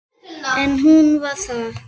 En hún var það.